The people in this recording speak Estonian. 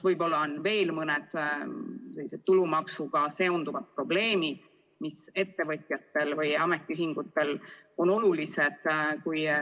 Võib-olla on veel mõned teised tulumaksuga seonduvad probleemid, mis ettevõtjatele või ametiühingutele olulised on.